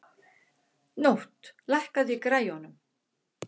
Nótt, lækkaðu í græjunum.